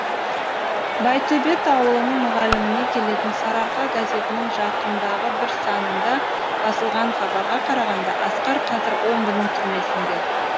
байтөбет ауылының мұғаліміне келетін сарыарқа газетінің жақындағы бір санында басылған хабарға қарағанда асқар қазір омбының түрмесінде